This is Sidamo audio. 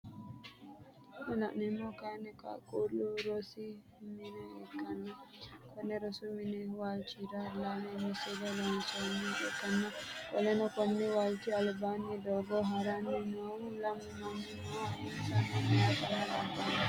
Kuni laneemmohu kaayiini qaaqullu rosi mine ikkanna Konni rosi mini waalchira lame missile loonsooniha ikkanna qoleno Konni walchchi albaani doogo haranni noohu lamu manni no insano meyaatenna labaaho